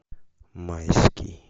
майский